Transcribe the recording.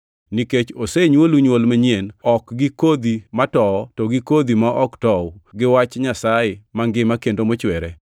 Nikech osenywolu nywol manyien, ok gi kodhi ma towo, to gi kodhi ma ok tow, gi wach Nyasaye mangima kendo mochwere.